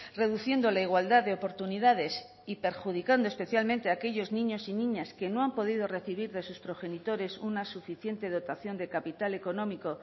reduciendo la igualdad de oportunidades y perjudicando especialmente aquellos niños y niñas que no han podido recibir de sus progenitores una suficiente dotación de capital económico